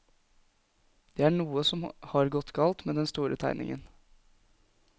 Det er noe som har gått galt med den store tegningen.